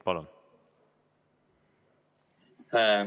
Palun!